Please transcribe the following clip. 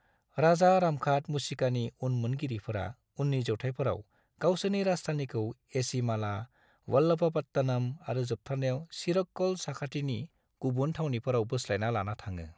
राजा रामघाट मुशिकानि उनमोनगिरिफोरा उननि जौथाइफोराव गावसिनि राजथावनिखौ एझिमाला, वल्लभपट्टनम (वालपट्टनम) आरो जोबथारनायाव चिरक्कल, साखाथिनि गुबुन थावनिफोराव बोस्लायना लाना थाङो।